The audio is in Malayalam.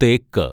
തേക്ക്